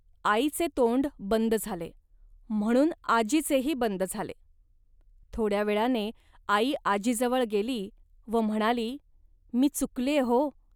आईचे तोंड बंद झाले, म्हणून आजीचेही बंद झाले. थोड्या वेळाने आई आजीजवळ गेली व म्हणाली, "मी चुकल्ये, हो